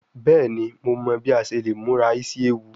Bẹẹni Mo mọ bi a ṣe le mura isi ewu